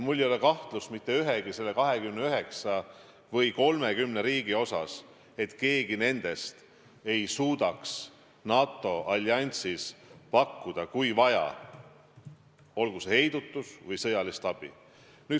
Mul ei ole kahtlust mitte ühegi 29 või 30 riigi puhul, et keegi nendest ei suudaks NATO alliansis pakkuda, kui vaja, olgu heidutust või sõjalist abi.